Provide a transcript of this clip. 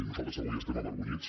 nosaltres avui estem avergonyits